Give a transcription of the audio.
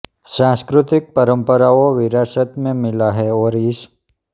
सांस्कृतिक परंपराओं विरासत में मिला है और इस